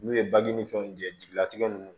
N'u ye baji ni fɛnw jɛjigatigɛ ninnu